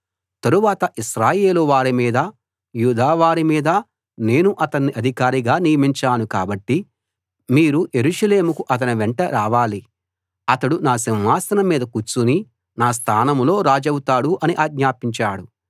తరువాత ఇశ్రాయేలు వారి మీదా యూదా వారి మీదా నేను అతణ్ణి అధికారిగా నియమించాను కాబట్టి మీరు యెరూషలేముకు అతని వెంట రావాలి అతడు నా సింహాసనం మీద కూర్చుని నా స్థానంలో రాజవుతాడు అని ఆజ్ఞాపించాడు